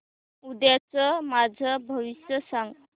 उद्याचं माझं भविष्य सांग